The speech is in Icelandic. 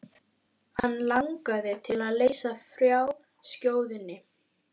Hann langaði til að leysa frá skjóðunni.